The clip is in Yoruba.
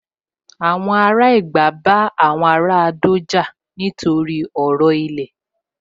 Àwọn ará Ẹ̀gbá bá àwọn ará Adó jà nítorí ọ̀rọ̀ ilẹ̀